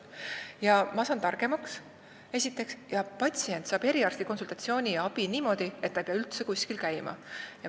Mina, perearst saan targemaks ja patsient saab eriarsti konsultatsiooni ja abi niimoodi, et ta ei pea üldse kuskil käima.